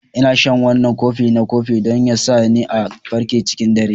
Ina shan wannan kofi na kofi don ya sa ni a farke cikin dare.